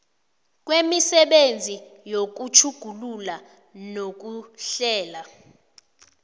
kwemisebenzi yokutjhugulula nokuhlela